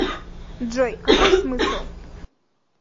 джой какой смысл